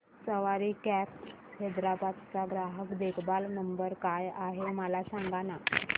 सवारी cabs Hyderabad चा ग्राहक देखभाल नंबर काय आहे मला सांगाना